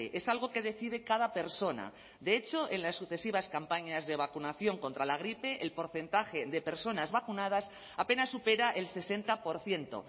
es algo que decide cada persona de hecho en las sucesivas campañas de vacunación contra la gripe el porcentaje de personas vacunadas apenas supera el sesenta por ciento